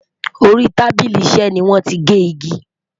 Orí tábìlì iṣé ní wọn tí gé ìgi